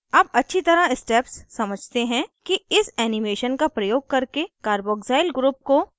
अब अच्छी तरह steps समझते हैं कि इस animation का प्रयोग करके carboxyl group को कैसे बनाया जाता है